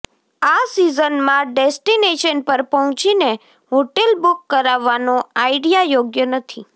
આ સીઝનમાં ડેસ્ટિનેશન પર પહોંચીને હોટેલ બુક કરાવવાનો આઈડિયા યોગ્ય નથી